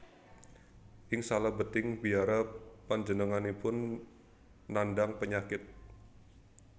Ing salebeting biara panjenenganipun nandhang penyakit